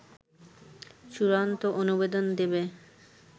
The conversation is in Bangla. চূড়ান্ত অনুমোদন দেবে